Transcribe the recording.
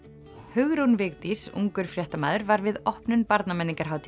Hugrún Vigdís ungur fréttamaður var við opnun Barnamenningarhátíðar